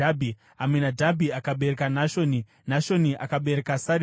Aminadhabhi akabereka Nashoni, Nashoni akabereka Sarimoni,